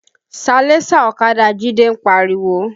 Salẹńsà ọ̀kadà Jide ń pariwo